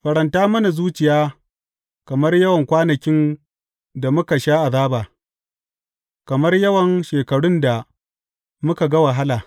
Faranta mana zuciya kamar yawan kwanakin da muka sha azaba, kamar yawan shekarun da muka ga wahala.